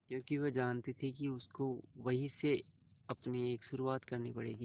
क्योंकि वह जानती थी कि उसको वहीं से अपनी एक शुरुआत करनी पड़ेगी